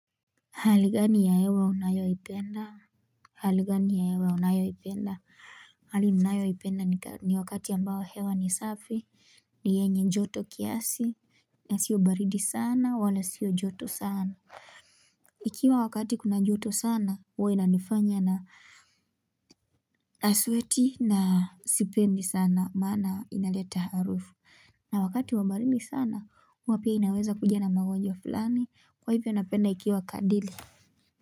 Hali gani ya hewa unayoipenda? Hali gani ya hewa unayoipenda? Hali ninayoipenda ni wakati ambao hewa ni safi. Ni yenye joto kiasi, na siyo baridi sana wala sio joto sana. Ikiwa wakati kuna joto sana, huwa inanifanya na nasweti na sipendi sana maana inaleta harufu. Na wakati wa baridi sana, huwa pia inaweza kuja na magonjwa fulani. Kwahivyo, napenda ikiwa kadiri.